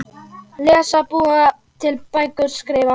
Lesa- búa til bækur- skrifa